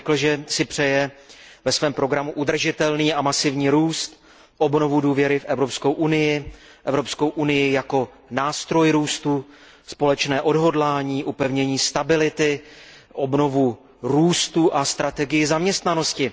On řekl, že si ve svém programu přeje udržitelný a masivní růst, obnovu důvěry v Evropskou unii jako nástroj růstu, společné odhodlání, upevnění stability, obnovu růstu a strategii zaměstnanosti.